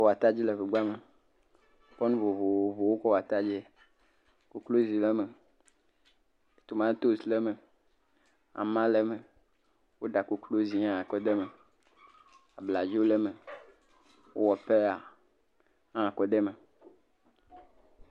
Atadi le ŋegba me, wokɔ nu vovovowo kɔ wɔ atadie, kukluizi le eme, tomatosi le eme, ama le eme, woɖa koklozi kɔ de eme, abladzo le eme, wowɔ peya hã kɔ de eme.